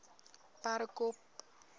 perdekop